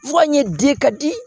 Fu an ye di ka di